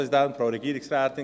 Krähenbühl hat das Wort.